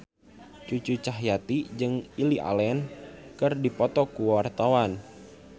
Cucu Cahyati jeung Lily Allen keur dipoto ku wartawan